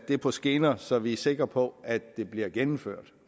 på skinner så vi er sikre på at det bliver gennemført